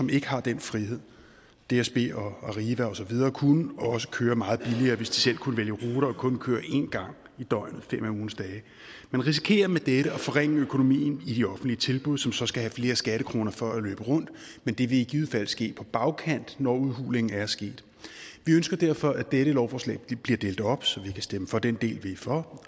ikke har den frihed dsb og arriva og så videre kunne også køre meget billigere hvis de selv kunne vælge ruter og kun køre én gang i døgnet fem af ugens dage man risikerer med dette at forringe økonomien i de offentlige tilbud som så skal have flere skattekroner for at løbe rundt men det vil i givet fald ske på bagkanten når udhulingen er sket vi ønsker derfor at dette lovforslag bliver delt op så vi kan stemme for den del vi er for